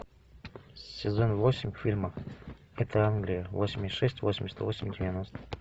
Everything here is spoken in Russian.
сезон восемь фильма это англия восемьдесят шесть восемьдесят восемь девяносто